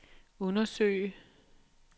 undersøge